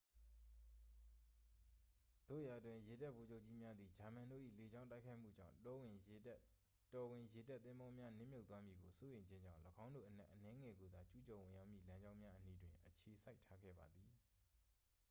သို့ရာတွင် ရေတပ်ဗိုလ်ချုပ်ကြီးများသည် ဂျာမန်တို့၏လေကြောင်းတိုက်ခိုက်မှုကြောင့် တော်ဝင်ရေတပ်သင်္ဘောများ နစ်မြုပ်သွားမည်ကိုစိုးရိမ်ခြင်းကြောင့် ၎င်းတို့အနက်အနည်းငယ်ကိုသာ ကျူးကျော်ဝင်ရောက်မည့်လမ်းကြောင်းများအနီးတွင် အခြေစိုက်ထားခဲ့ပါသည်